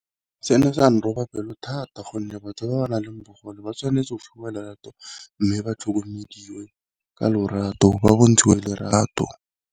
Se ne sa ne roba pelo thata gonne batho ba ba nang le bogole ba tshwanetse go fiwa lerato, mme ba tlhokomediwe ka lorato ba bontshitswe lerato.